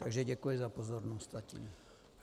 Takže děkuji za pozornost zatím.